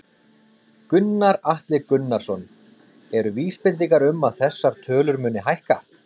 Gunnar Atli Gunnarsson: Eru vísbendingar um að þessar tölur muni hækka?